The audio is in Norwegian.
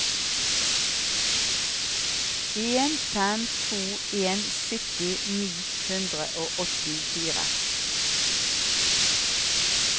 en fem to en sytti ni hundre og åttifire